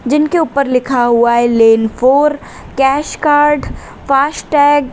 जिनके ऊपर लिखा हुआ है लेंनफोर कैश कार्ड फास्टैग ।